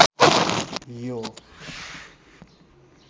यो